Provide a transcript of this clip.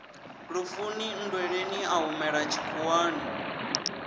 lufuni nndweleni a humela tshikhuwani